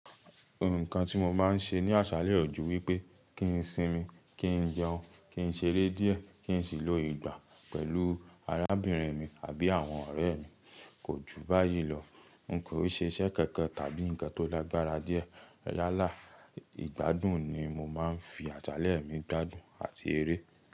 Ohun kan tí mo máa ń ṣe ní àṣálẹ́ ò jù wípé kí n sinmi, kí n jẹun, kí n ṣeré díẹ̀, kí n sì lò ìgbà pẹ̀lú arábìnrin mi àbí àwọn ọ̀rẹ́ mi. Kò ju báyìí lọ. Nko n ṣe iṣẹ́ kankan tàbí ǹkan tó lágbára díẹ̀. Lálá ìgbádùn ni mo máa ń fi àṣálẹ́ mi gbádùn àti eré.